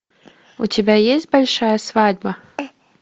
у тебя есть большая свадьба